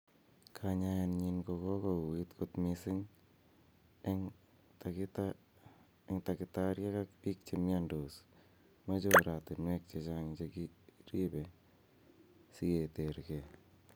Kanyaenyin ko go uit kot mising en takitariek ak pik che miondos moche oratinwek chechang che kigiripe si keter ge.